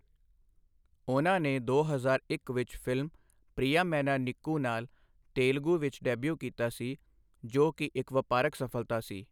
ਉਨ੍ਹਾਂ ਨੇ ਦੋ ਹਜ਼ਾਰ ਇੱਕ ਵਿੱਚ ਫਿਲਮ 'ਪ੍ਰਿਆਮੈਨਾ ਨੀਕੂ' ਨਾਲ ਤੇਲਗੂ ਵਿੱਚ ਡੈਬਿਊ ਕੀਤਾ ਸੀ, ਜੋ ਕਿ ਇੱਕ ਵਪਾਰਕ ਸਫਲਤਾ ਸੀ।